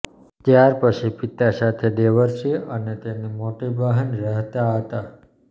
ત્યાર પછી પિતા સાથે દેવર્ષી અને તેની મોટી બહેન રહેતા હતા